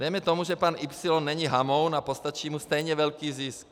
Dejme tomu, že pan Y není hamoun a postačí mu stejně velký zisk.